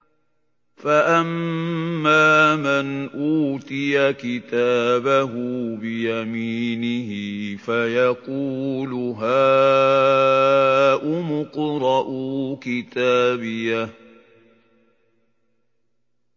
فَأَمَّا مَنْ أُوتِيَ كِتَابَهُ بِيَمِينِهِ فَيَقُولُ هَاؤُمُ اقْرَءُوا كِتَابِيَهْ